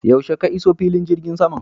Yaushe ka iso filin jirgin saman?